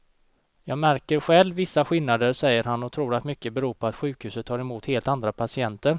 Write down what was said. Jag märker själv vissa skillnader, säger han och tror att mycket beror på att sjukhuset tar emot helt andra patienter.